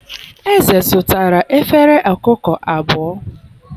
eze zụtara efere ọkụkọ abụọ